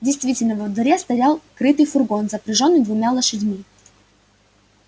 действительно во дворе стоял крытый фургон запряжённый двумя лошадьми